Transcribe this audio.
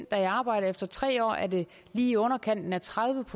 der er i arbejde og efter tre år er det lige i underkanten af tredive